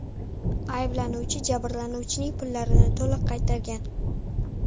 Ayblanuvchi jabrlanuvchining pullarini to‘liq qaytargan.